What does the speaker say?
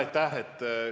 Aitäh!